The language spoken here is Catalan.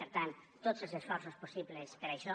per tant tots els esforços possibles per a això